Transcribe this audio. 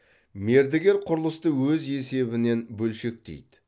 мердігер құрылысты өз есебінен бөлшектейді